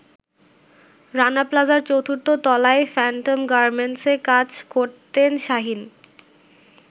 রানা প্লাজার ৪র্থ তলায় ফ্যান্টম গার্মেন্টসে কাজ করতেন শাহীন।